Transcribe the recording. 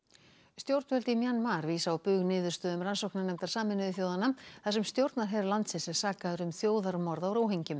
stjórnvöld í Mjanmar vísa á bug niðurstöðum rannsóknarnefndar Sameinuðu þjóðanna þar sem stjórnarher landsins er sakaður um þjóðarmorð á